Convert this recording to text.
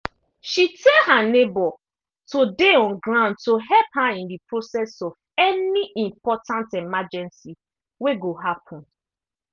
she tell her neighbor to dey on ground to help her in process of any important emergency wey go happen